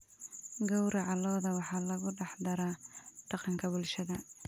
Gowraca lo'da waxa lagu dhex daraa dhaqanka bulshada.